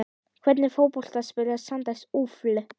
Hvernig fótbolta spilar Sandnes Ulf?